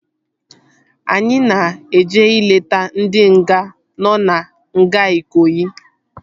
Anyị na-eje ileta ndị nga nọ na nga Ikoyi